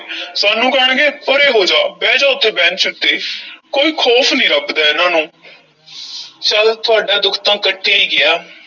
ਸਾਨੂੰ ਕਹਿਣਗੇ ਪਰੇ ਹੋ ਜਾਹ, ਬਹਿ ਜਾ ਉੱਥੇ ਬੈਂਚ ਉੱਤੇ ਕੋਈ ਖ਼ੌਫ਼ ਨਹੀਂ ਰੱਬ ਦਾ ਇਹਨਾਂ ਨੂੰ ਚੱਲ ਤੁਹਾਡਾ ਦੁੱਖ ਤਾਂ ਕੱਟਿਆ ਈ ਗਿਆ।